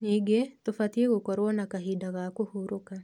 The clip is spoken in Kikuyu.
Ningĩ, tũbatie gũkorwo na kahinda ga kũhurũka.